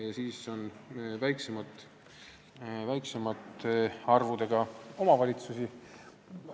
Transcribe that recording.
Lisaks on veel väiksemate arvudega omavalitsusi.